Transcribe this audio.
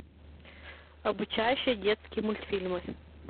обучающие детские мультфильмы